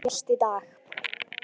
Hún lést í dag.